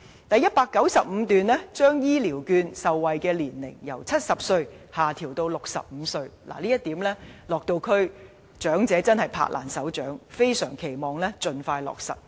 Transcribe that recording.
第195段亦提出把長者醫療券受惠年齡由70歲下調至65歲，長者對此拍掌歡迎，非常期望盡快落實。